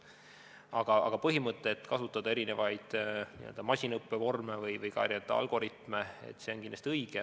Aga põhimõte, et kasutada erinevaid masinõppevorme või ka algoritme, on kindlasti õige.